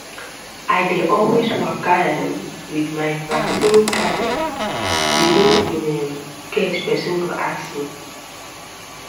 i dey always waka um with my vaccine card um you know in um case person go ask me